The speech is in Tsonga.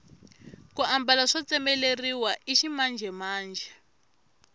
ku mbala swo tsemeleriwa i ximanjhemanjhe